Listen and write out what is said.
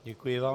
Děkuji vám.